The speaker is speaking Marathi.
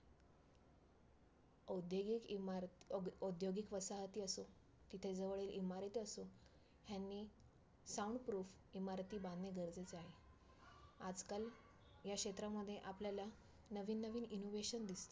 औद्योगीक इमारत औ औ~ औद्योगीक वसाहती असो की त्याजवळील इमारती असो, ह्यांनी sound proof इमारती बांधणे गरजेचे आहे. आजकाल ह्या क्षेत्रामध्ये आपल्याला नवीन नवीन innovation दिसतात.